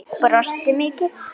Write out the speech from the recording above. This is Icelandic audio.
Brosti mikið.